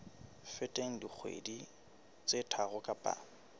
feteng dikgwedi tse tharo kapa